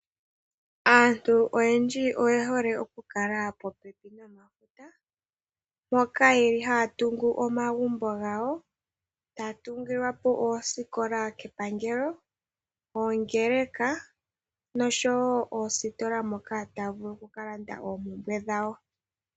Aantu oyendji oye hole okukala popepi nomafuta mpoka ye li haya tungu omagumbo gayo. Taya tungilwa po oosikola kepangelo, oongeleka nosho woo oositola moka taya vulu oku ka landa oompumbwe dhawo.